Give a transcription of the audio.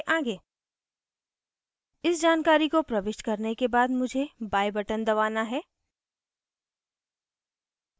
इस जानकारी को प्रविष्ट करने के बाद मुझे buy button दबाना है